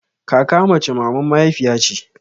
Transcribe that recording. Kaka mace maman mahaifiya ce